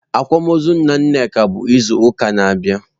Akwamaọzụ nna Nneka bụ izu ụka na-abịa.